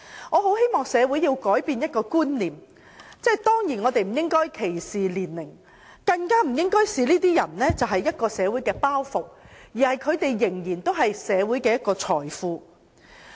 我很希望社會能改變觀念，不應有年齡歧視，更不應視這些人為社會的包袱，因為他們仍然是社會的財富。